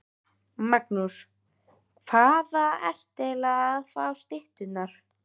Magnús: Hvaðan ertu aðallega að fá stytturnar?